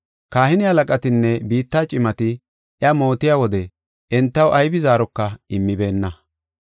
Kahine halaqatinne biitta cimati iya mootiya wode entaw aybi zaaroka immibeenna.